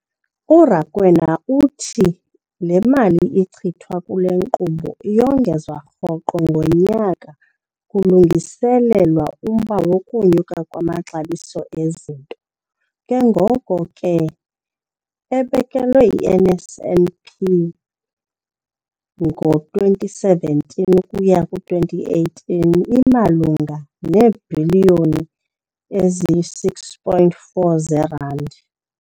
URakwena uthi le mali ichithwa kule nkqubo iyongezwa rhoqo ngonyaka kulungiselelwa umba wokunyuka kwamaxabiso ezinto, ke ngoko ke imali ebekelwe i-NSNP ngo-2017 ukuya ku-2018 imalunga neebhiliyoni eziyi-6.4 zeerandi.